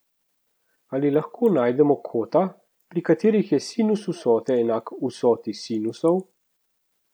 Ali lahko najdemo kota, pri katerih je sinus vsote enak vsoti sinusov?